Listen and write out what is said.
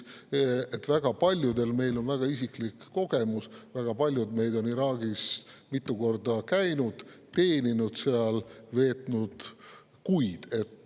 Väga paljudel meist on väga isiklik kogemus, väga paljud meist on Iraagis mitu korda käinud, teeninud seal, veetnud kuid.